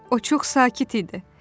O çox sakit idi.